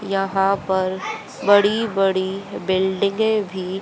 यहाँ पर बड़ी बड़ी बिल्डिंगे भी--